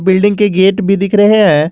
Building के gate भी दिख रहे हैं।